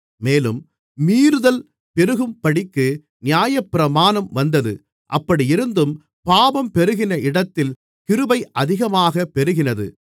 மேலும் மீறுதல் பெருகும்படிக்கு நியாயப்பிரமாணம் வந்தது அப்படியிருந்தும் பாவம் பெருகின இடத்தில் கிருபை அதிகமாகப் பெருகினது